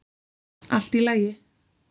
Allt í lagi.